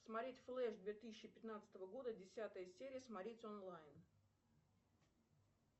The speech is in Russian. смотреть флэш две тысячи пятнадцатого года десятая серия смотреть онлайн